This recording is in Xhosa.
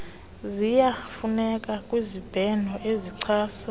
ziyafuneka kwizibheno ezichasa